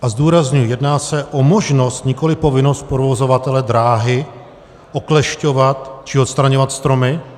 A zdůrazňuji - jedná se o možnost, nikoliv povinnost provozovatele dráhy oklešťovat či odstraňovat stromy.